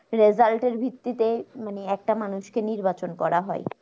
result এর ভিত্তিতে মানে একটা মানুষ কে নির্বাচন করা হয়